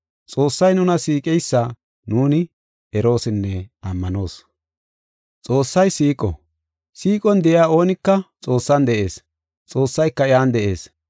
Xoossay nuna siiqeysa nuuni eroosinne ammanoos. Xoossay siiqo. Siiqon de7iya oonika Xoossan de7ees; Xoossayka iyan de7ees.